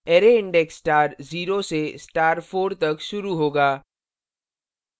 array index star 0 से star 4 तक शुरू होगा